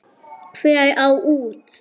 Hver á út?